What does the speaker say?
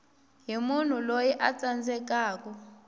hi munhu loyi a tsandzekaku